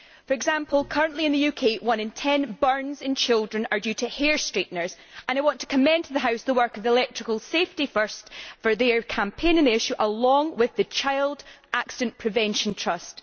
For example, currently in the UK one in 10 burns in children is due to hair straighteners and I want to commend to the House the work of Electrical Safety First for their campaign on the issue, along with the Child Accident Prevention Trust.